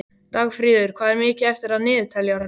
Dagfríður, hvað er mikið eftir af niðurteljaranum?